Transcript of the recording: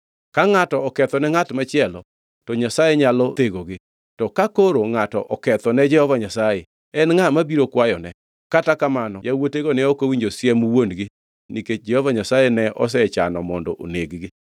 Ka ngʼato okethone ngʼat machielo to Nyasaye nyalo thegogi; to ka koro ngʼato oketho ne Jehova Nyasaye, en ngʼa mabiro kwayone?” Kata kamano yawuotego ne ok owinjo siem wuon-gi nikech Jehova Nyasaye ne osechano mondo oneg-gi.